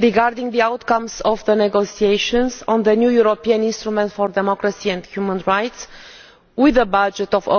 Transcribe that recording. regarding the outcomes of the negotiations on the new European instrument for democracy and human rights with a budget of over EUR